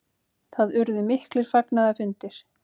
Það urðu miklir fagnaðarfundir.